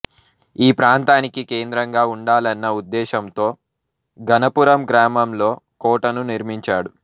ఈ ప్రాంతానికి కేంద్రంగా ఉండాలన్న ఉద్దేశంతో గణపురం గ్రామంలో కోటను నిర్మించాడు